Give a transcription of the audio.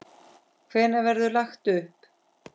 Hvenær verður lagt upp?